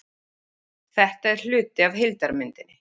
Þetta er hluti af heildarmyndinni